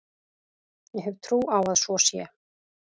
Ég hef trú á að svo sé.